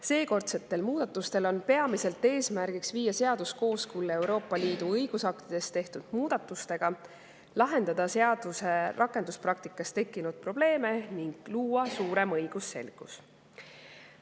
Seekordsete muudatuste peamised eesmärgid on viia seadus kooskõlla Euroopa Liidu õigusaktides tehtud muudatustega, lahendada rakenduspraktikas tekkinud probleeme ning luua suurem õigusselgus.